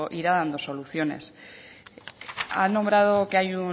soluciones